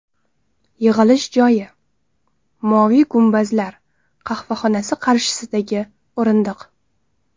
Yig‘ilish joyi: ‘Moviy gumbazlar’ qahvaxonasi qarshisidagi o‘rindiq.